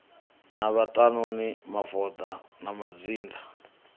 na vhaṱanuni mavoḓa na mazhinda